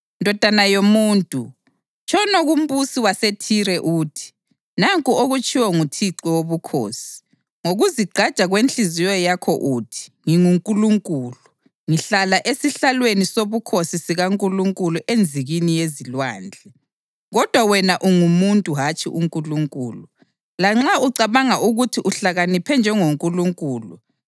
“Ndodana yomuntu, tshono kumbusi waseThire uthi, ‘Nanku okutshiwo nguThixo Wobukhosi: Ngokuzigqaja kwenhliziyo yakho uthi, “Ngingunkulunkulu; ngihlala esihlalweni sobukhosi sikankulunkulu enzikini yezilwandle.” Kodwa wena ungumuntu hatshi uNkulunkulu, lanxa ucabanga ukuthi uhlakaniphe njengoNkulunkulu.